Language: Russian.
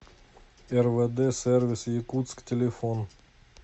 рвд сервис якутск телефон